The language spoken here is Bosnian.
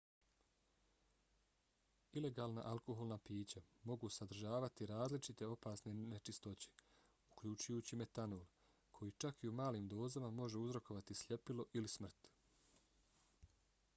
ilegalna alkoholna pića mogu sadržavati različite opasne nečistoće uključujući metanol koji čak i u malim dozama može uzrokovati sljepilo ili smrt